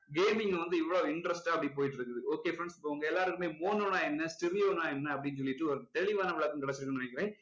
gaming வந்து இவ்ளோ interest ஆ அப்படி போயிட்டு இருக்குது okay friends இப்போ உங்க எல்லாருக்குமே mono னா என்ன stereo னா என்ன அப்படின்னு சொல்லிட்டு ஒரு தெளிவான விளக்கம் கிடைச்சிருக்கும்னு நினைக்கிறேன்